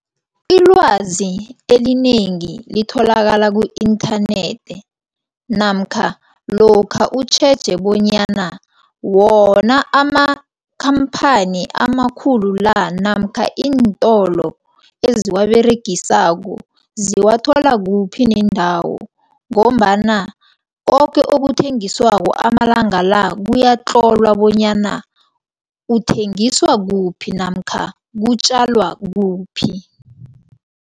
Ilwazi elinengi litholakala ku-inthanethi namkha lokha utjheje bonyana wona amakhamphani amakhulu la namkha iintolo eziwaberegisako, ziwathola kuphi nendawo ngombana koke okuthengiswako amalanga la kuyatlolwa bonyana kuthengiswa kuphi namkha kutjalwa kuphi.